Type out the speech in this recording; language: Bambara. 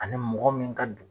Ani mɔgɔ min ka du